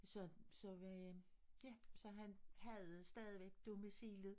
Så så vi ja så han havde stadig domicilet